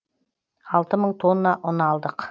алты мың тонна ұн алдық